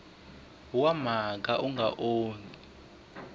wa mhaka wu nga onhaki